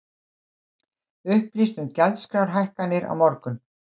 Upplýst um gjaldskrárhækkanir á morgun